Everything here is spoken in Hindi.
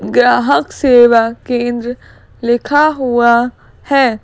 ग्राहक सेवा केंद्र लिखा हुआ है।